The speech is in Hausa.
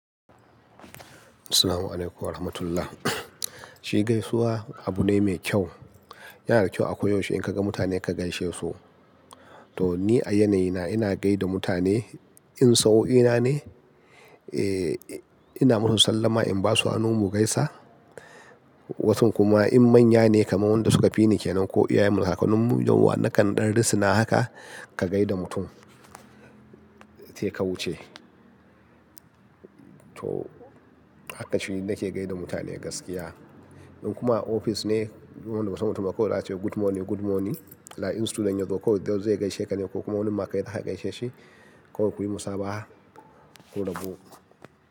Assalamu alaikum warahmatullah. Shi gaisuwa abu ne mai kyau. Yana da kyau a koyaushe in ka ga mutane ka gaishe su. To ni a yanayina ina gai da mutane in sau'o'ina ne, eh, ina musu sallama in ba su hannu mu gaisa. Wasun kuma in manya ne kamar wanda suka fi ni kenan ko iyayenmu da kakannin mu, yawwa na kan danrisina haka ka gai da mutum sai ka wuce. To haka shi nake gai da mutane gaskiya. In kuma ofis ne duk wanda wasu mutane kawai zai ce good morning, good morning. Like in student yanzu kawai, dai zai gaishe ka ne ko kuma wani ma kai zaka gaishe shi kawai kuyi musaba'a kurabu.